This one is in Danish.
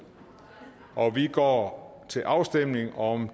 og vi går til afstemning om